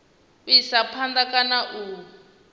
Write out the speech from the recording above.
u isa phanda kana u